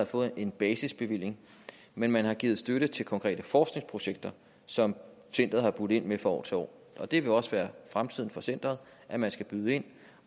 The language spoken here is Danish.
fået en basisbevilling men man har givet støtte til konkrete forskningsprojekter som centeret har budt ind med fra år til år og det vil også være fremtiden for centeret at man skal byde ind